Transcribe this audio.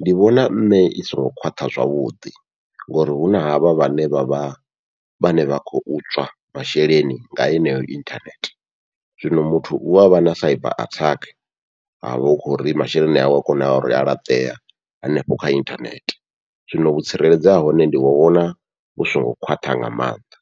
ndi vhona nṋe i songo khwaṱha zwavhuḓi, ngori huna havha vhane vha vha vhane vha khou tswa masheleni nga heneyo inthanethe. Zwino muthu u avha na attack avha hu khori masheleni awe a kona uri a laṱea hanefho kha inthanethe, zwino vhu tsireledzo ha hone ndi vhona hu songo khwaṱha nga maanḓa.